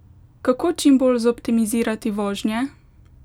Kako čim bolj zoptimizirati vožnje?